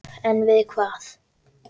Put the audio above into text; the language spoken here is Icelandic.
En við hvað?